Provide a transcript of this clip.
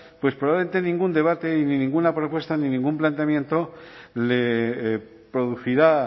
probablemente ningún debate ni ninguna propuesta ni ningún planteamiento le producirá